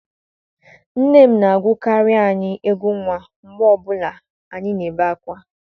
Nne m na-agụkarị anyị egwú nwa mgbe ọ bụla anyị na-ebe ákwá.